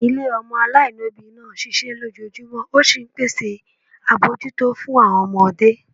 Ilé ọmọ aláìlóbìí náà ń ṣiṣẹ́ lójoojúmọ́, ó sì ń pèsè àbójútó fún àwọn ọmọdé